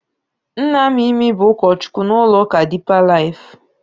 Nna Mimi bụ ụkọchukwu n'ụlọụka Dipa Laif.